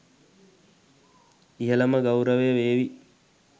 ඉහළම ගෞරවය වේවි.